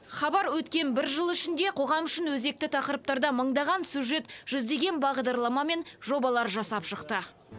хабар өткен бір жыл ішінде қоғам үшін өзекті тақырыптарда мыңдаған сюжет жүздеген бағдарлама мен жобалар жасап шықты